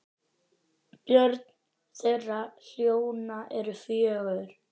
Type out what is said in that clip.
Börn þeirra hjóna eru fjögur.